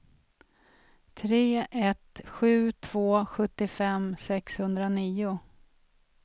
tre ett sju två sjuttiofem sexhundranio